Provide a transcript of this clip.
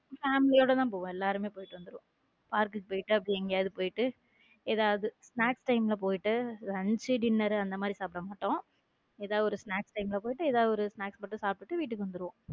family யோடதான் போவோம் எல்லாருமே போயிட்டு வந்துருவோம் park போயிடு அப்படியே எங்கேயாவது போயிட்டு ஏதாவது snacks time ல போயிட்ட lunch dinner அந்த மாதிரி சாப்பிட மாட்டோம் ஏதாவது ஒரு snacks time போயிட்டு ஏதாவது snacks மட்டும் சாப்பிட்டு வீட்டுக்கு வந்துரும்.